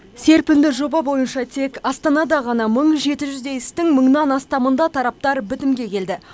серпінді жоба бойынша тек астанада ғана мың жеті жүздей істің мыңнан астамында тараптар бітімге келді